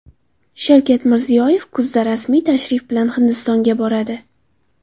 Shavkat Mirziyoyev kuzda rasmiy tashrif bilan Hindistonga boradi.